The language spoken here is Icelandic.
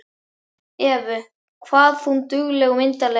Evu, hvað hún dugleg og myndarleg.